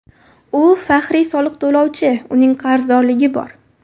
U faxriy soliq to‘lovchi, uning qarzdorligi bor.